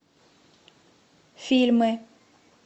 фильмы